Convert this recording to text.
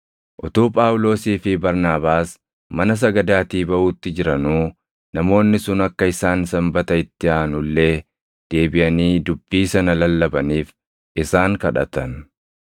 Utuu Phaawulosii fi Barnaabaas mana sagadaatii baʼuutti jiranuu namoonni sun akka isaan Sanbata itti aanu illee deebiʼanii dubbii sana lallabaniif isaan kadhatan.